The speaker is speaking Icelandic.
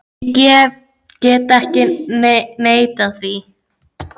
Ég get ekki neitað því.